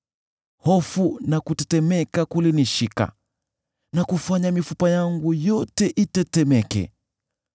hofu na kutetemeka kulinishika na kufanya mifupa yangu yote itetemeke.